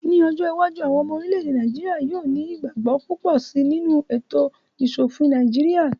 Ní ọjọ́ iwájú, àwọn ọmọ orílẹ̀-èdè Nàìjíríyà yóò ní ìgbàgbọ́ púpọ̀ síi nínú ètò ìṣòofin Nàìjíríyà